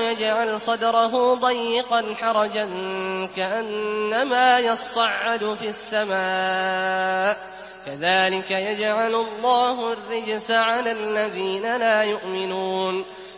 يَجْعَلْ صَدْرَهُ ضَيِّقًا حَرَجًا كَأَنَّمَا يَصَّعَّدُ فِي السَّمَاءِ ۚ كَذَٰلِكَ يَجْعَلُ اللَّهُ الرِّجْسَ عَلَى الَّذِينَ لَا يُؤْمِنُونَ